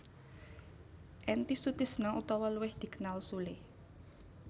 Entis Sutisna utawa luwih dikenal Sule